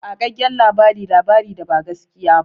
Ƙagaggen labari labari da ba gaskiya ba.